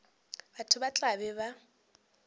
batho ba tla be ba